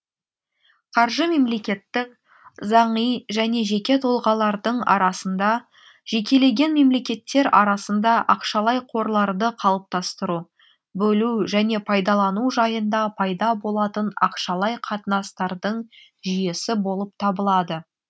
қаржы мемлекеттің заңи және жеке тұлғалардың арасында жекелеген мемлекеттер арасында ақшалай қорларды қалыптастыру бөлу және пайдалану жайында пайда болатын ақшалай қатынастардың жүйесі болып табылады